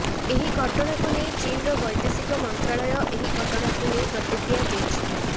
ଏହି ଘଟଣାକୁ ନେଇ ଚୀନର ବୈଦେଶିକ ମନ୍ତ୍ରଣାଳୟ ଏହି ଘଟଣାକୁ ନେଇ ପ୍ରତିକ୍ରିୟା ଦେଇଛି